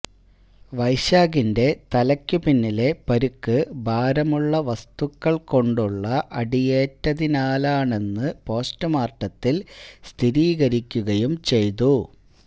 വൈശാഖിന്റെ തലയ്ക്കു പിന്നിലെ പരുക്ക് ഭാരമുള്ള വസ്തുക്കൾ കൊണ്ടുള്ള അടിയേറ്റതിനാലാണെന്നു പോസ്റ്റ്മോർട്ടത്തിൽ സ്ഥിരീകരിക്കുകയും ചെയ്തു